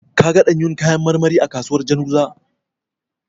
Ka ga ɗanyun kayan marmari a kasuwar Janzuga?